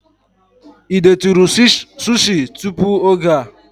Ị detụrụ sushi tupu oge a?